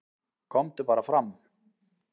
"""KOMDU BARA FRAM,"""